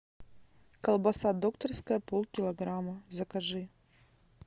колбаса докторская полкилограмма закажи